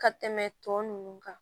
Ka tɛmɛ tɔ ninnu kan